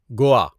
Goa